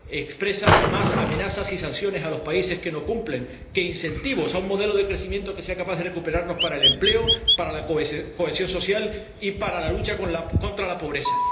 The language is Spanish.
expresa más amenazas y sanciones a los países que no cumplen que incentivos a un modelo de crecimiento que sea capaz de recuperarlos para el empleo, para la cohesión social y para la lucha contra la pobreza.